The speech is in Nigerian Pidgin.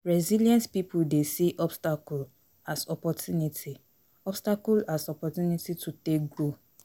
Resilient pipo dey see obstacle as opportunity, obstacle as opportunity to take grow